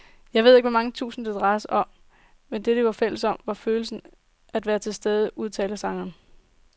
Jeg ved ikke hvor mange tusind, det drejede sig om, men det, de var fælles om, var følelsen af at være tilstede, udtaler sangeren.